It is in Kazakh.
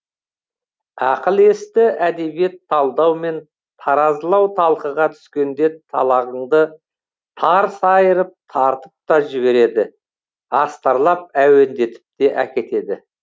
ақыл есті әдебиет талдау мен таразылау талқыға түскенде талағыңды тарс айырып тарпып та жібереді астарлап әуендетіп те әкетеді